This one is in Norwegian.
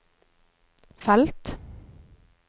felt